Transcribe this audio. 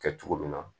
Kɛ cogo min na